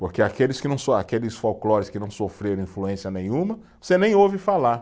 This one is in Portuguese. Porque aqueles que não so, aqueles folclores que não sofreram influência nenhuma, você nem ouve falar.